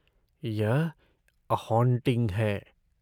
यह 'a haunting' है।